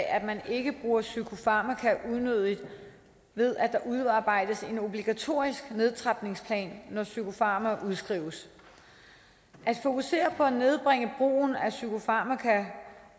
at man ikke bruger psykofarmaka unødigt ved at der udarbejdes en obligatorisk nedtrapningsplan når psykofarmaka udskrives at fokusere på at nedbringe brugen af psykofarmaka